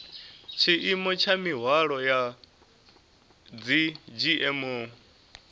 tshiimo tsha mihwalo ya dzgmo